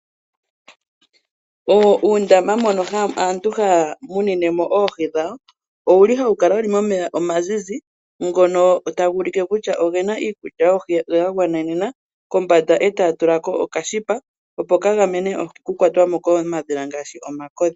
Uundama mbono aantu haya munine mo oohi dhawo owuli hawu kala momeya omazizi ngono taga u li ke kutya ogena iikulya yoohi yagwanenena, kombanda taya tula ko okashipa opo ka gamene oohi oku kwa twa mo komadhila ngaashi omakodhi.